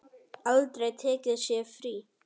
Aldrei tekið sér frí.